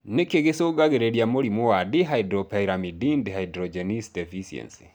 Nĩkĩ gĩcũngagĩrĩria mũrimũ wa Dihydropyrimidine dehydrogenase deficiency?